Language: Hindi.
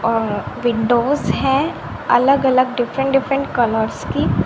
अ विंडोज हैं अलग अलग डिफरेंट डिफरेंट कलर्स की--